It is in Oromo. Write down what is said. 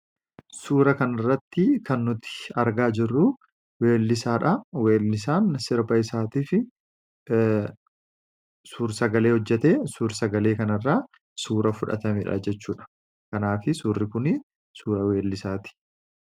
Suura kana irratti kan nuti argaa jirruu weellisaadha. Weellisaan sirba isaatii fi suur sagalee hojjatee suur sagalee kan irrsa suura fudhatamedha jechuudha. Kanaaf suurri kun suura weellisaati.